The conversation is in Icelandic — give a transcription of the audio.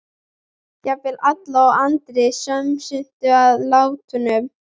Jafnvel Alla og Andri smituðust af látunum.